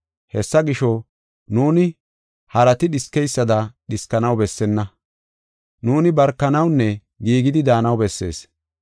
Hessa gisho, nuuni harati dhiskeysada dhiskanaw bessenna; nuuni barkanawunne giigidi daanaw bessees.